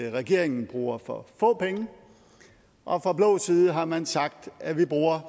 regeringen bruger for få penge og fra blå side har man sagt at vi bruger